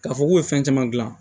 K'a fɔ k'u ye fɛn caman gilan